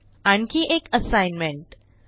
आणखी एक असाईनमेंट 1